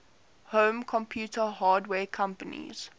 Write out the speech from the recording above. home computer hardware companies